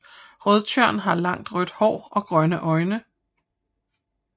Rødtjørn har langt rødt hår og grønne øjne